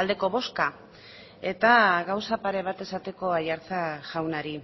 aldeko bozka eta gauza pare bat esateko aiartza jaunari